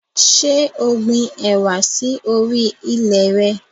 Ṣé o gbin ẹwà sì orí ilẹ̀ re?